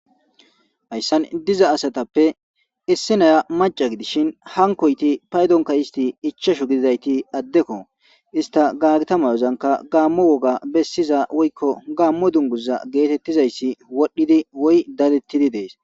Hayssan diza asatappe issinaya maca gidishin hankoyti paydonka isti ichashu gididayti addekko ista gaagita mayozanka gaammo woga bessiza woykko gaammo dunguza geetettizayssi wodhdhidi woy dadettidi dees.